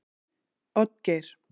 Oddgeir